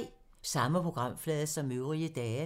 Samme programflade som øvrige dage